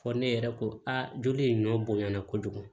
Fɔ ne yɛrɛ ko aa joli in ɲɔ bonyana kojugu